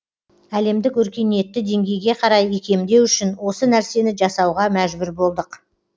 әлемдік өркениетті деңгейге қарай икемдеу үшін осы нәрсені жасауға мәжбүр болдық